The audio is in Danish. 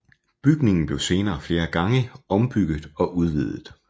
Bygningen blev senere flere gange ombygget og udvidet